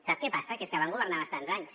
sap què passa que és que van governar bastants anys